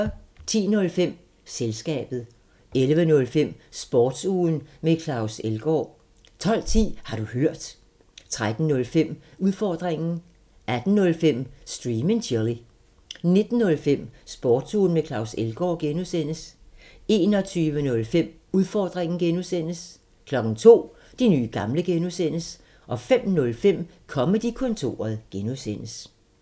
10:05: Selskabet 11:05: Sportsugen med Claus Elgaard 12:10: Har du hørt? 13:05: Udfordringen 18:05: Stream and chill 19:05: Sportsugen med Claus Elgaard (G) 21:05: Udfordringen (G) 02:00: De nye gamle (G) 05:05: Comedy-kontoret (G)